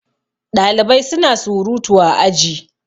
Ɗalibai suna surutu a aji